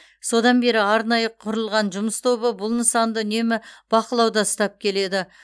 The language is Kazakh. содан бері арнайы құрылған жұмыс тобы бұл нысанды үнемі бақылауда ұстап келеді